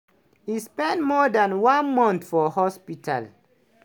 e spend more dan one month for hospital.